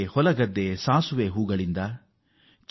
ಹೊಲದಲ್ಲಿ ಸಾಸಿವೆಯ ಹೂವಿನ ರಾಶಿ